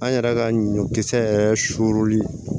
An yɛrɛ ka ɲɔkisɛ yɛrɛ suli